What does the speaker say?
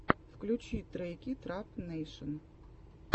включи треки трап нэйшн